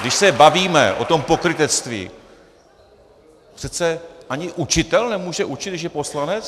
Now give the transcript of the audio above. Když se bavíme o tom pokrytectví, přece ani učitel nemůže učit, když je poslanec?